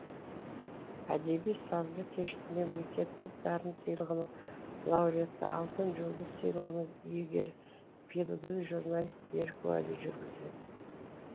әдеби сазды кешті мемлекеттік дарын сыйлығының лауреаты алтын жұлдыз сыйлығының иегері белгілі журналист берік уәли жүргізеді